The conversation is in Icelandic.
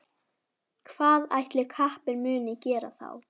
Hvað ætli kappinn muni gera þá?